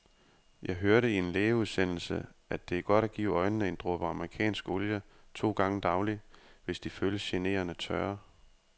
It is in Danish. Jeg hørte i en lægeudsendelse, at det er godt at give øjnene en dråbe amerikansk olie to gange daglig, hvis de føles generende tørre.